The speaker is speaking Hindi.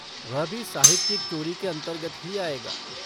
वह भी साहित्यिक चोरी के अंतर्गत ही आएगा।